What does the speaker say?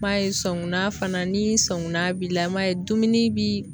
N m'a ye sɔngunna fana ni sɔngunna b'i la i m'a ye dumuni bi